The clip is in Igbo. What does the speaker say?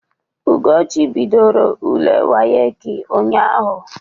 Ugochi bidoro ule wayek ụnyaahụ.